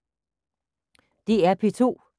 DR P2